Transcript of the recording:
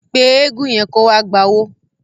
Pé eégun yẹn kó wá gbowó.